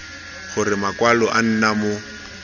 gore makwalo a nna mo